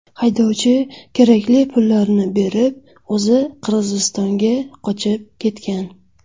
Haydovchi kerakli pullarni berib, o‘zi Qirg‘izistonga qochib ketgan.